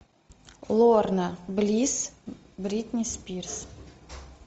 лорна близ бритни спирс